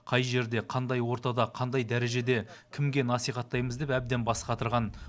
қай жерде қандай ортада қандай дәрежеде кімге насихаттаймыз деп әбден бас қатырған